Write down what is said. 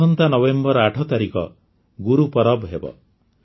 ଆସନ୍ତା ନଭେମ୍ବର ୮ ତାରିଖ ଗୁରୁପର୍ବ ହେବ